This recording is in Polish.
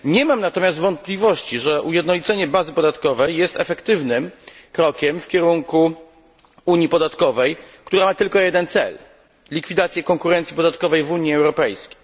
Nie mam natomiast wątpliwości, że ujednolicenie bazy podatkowej jest efektywnym krokiem w kierunku unii podatkowej, która ma tylko jeden cel likwidację konkurencji podatkowej w Unii Europejskiej.